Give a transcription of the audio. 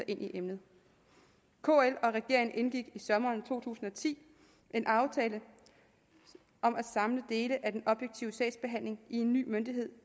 ind i emnet kl og regeringen indgik i sommeren to tusind og ti en aftale om at samle dele af den objektive sagsbehandling i en ny myndighed